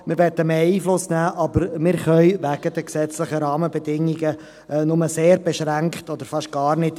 Wir wollen mehr Einfluss nehmen, können dies aber wegen der gesetzlichen Rahmenbedingungen nur beschränkt oder fast gar nicht.